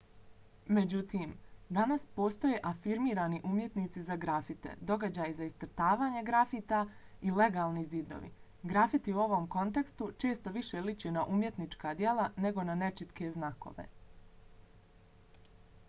međutim danas postoje afirmirani umjetnici za grafite događaji za iscrtavanje grafita i legalni zidovi. grafiti u ovom kontekstu često više liče na umjetnička djela nego na nečitke znakove